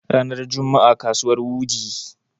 ranar Juma'a kasuwar wudii